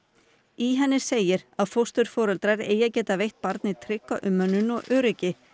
í henni segir fósturforeldrar eigi að geta veitt barni trygga umönnun og öryggi